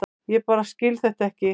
Ég bara skil þetta ekki.